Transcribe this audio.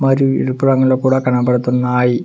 మరియు ఎరుపు రంగులో కూడా కనబడుతున్నాయి.